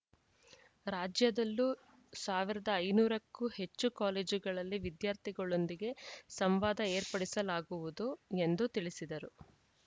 ರಾಜ್ಯದಲ್ಲೂ ಸಾವಿರದ ಐನೂರು ಕ್ಕೂ ಹೆಚ್ಚು ಕಾಲೇಜುಗಳಲ್ಲಿ ವಿದ್ಯಾರ್ಥಿಗಳೊಂದಿಗೆ ಸಂವಾದ ಏರ್ಪಡಿಸಲಾಗುವುದು ಎಂದು ತಿಳಿಸಿದರು